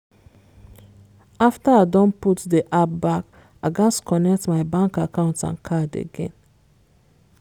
after i don put de app back i gats connect my bank account and card again.